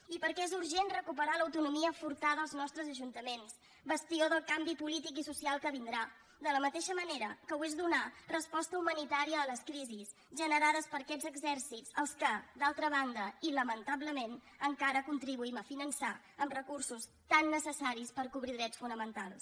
i perquè és urgent recuperar l’autonomia furtada als nostres ajuntaments bastió del canvi polític i social que vindrà de la mateixa manera que ho és donar resposta humanitària a les crisis generades per aquests exèrcits als quals d’altra banda i lamentablement encara contribuïm a finançar amb recursos tan necessaris per cobrir drets fonamentals